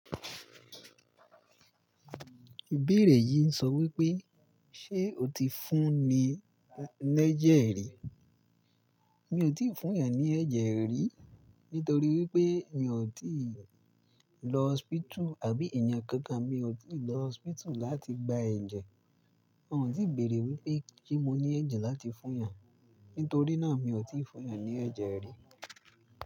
Ìbéèrè yìí ń sọ wípé, ṣe o ti fún ni ní ẹ̀jẹ̀ rí? Mi ò tíì fún yán ní ẹ̀jẹ̀ rí, nítorí wípé mi ò tíì lọ hospital àbí ènìyàn kankan mi ò tíì lọ hospital láti gba ẹ̀jẹ̀. Wọn ò tíì béèrè wípé se mo ní ẹ̀jẹ̀ láti fún yan. Nítorí náà mi ò tíì fún yan ní ẹ̀jẹ̀ rí.